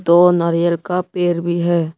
दो नारियल का पेड़ भी है।